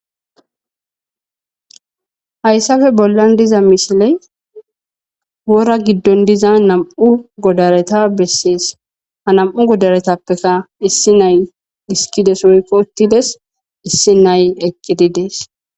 hayssafe bollan diza mishiley wora giddon diza nam7u godareta bessees ha nam7u godaretappeka issi nay diskides woykko uttides issi nay eqqididees